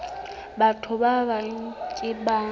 batho ba bang ke ba